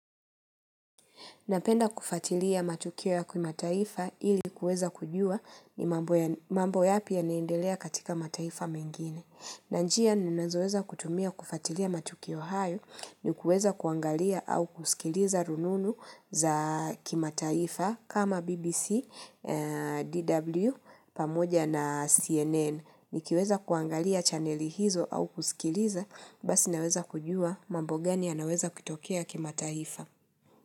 Napenda kufatilia matukio ya kimataifa ili kueza kujua ni ya ni mambo yapi yanaendelea katika mataifa mengine. Na njia ninazoweza kutumia kufatilia matukio hayo ni kuweza kuangalia au kusikiliza rununu za kimataifa kama BBC, DW, pamoja na CNN. Nikiweza kuangalia chaneli hizo au kusikiliza, basi naweza kujua mambo gani yanaweza kutokea kimataifa.